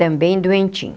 Também doentinho.